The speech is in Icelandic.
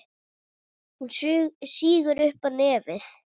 Hún sýgur upp í nefið.